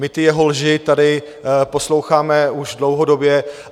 My ty jeho lži tady posloucháme už dlouhodobě.